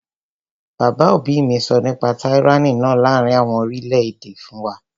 Bàbá òbí mi sọ nípa tyranny náà láàrin àwọn orílẹ̀-èdè fún wa